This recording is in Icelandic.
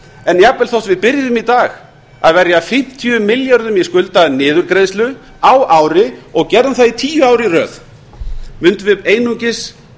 en jafnvel þó við byrjuðum í dag að verja fimmtíu milljörðum í skuldaniðurgreiðslu á ári og gerðum það í tíu ár í röð mundum við einungis